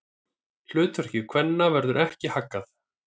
Hlutverki kvenna verður ekki haggað.